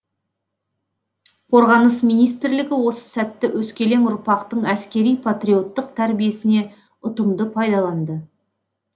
қорғаныс министрлігі осы сәтті өскелең ұрпақтың әскери патриоттық тәрбиесіне ұтымды пайдаланды